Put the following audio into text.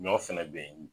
Ɲɔ fɛnɛ be yen